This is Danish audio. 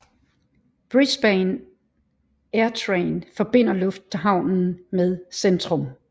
Brisbane Airtrain forbinder lufthavnen med centrum